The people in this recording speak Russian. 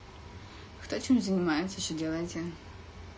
кто чем занимается что делаете